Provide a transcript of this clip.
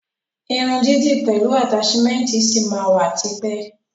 Irun dídì pẹlu ataṣimẹnti ṣi ma wa tipẹ́.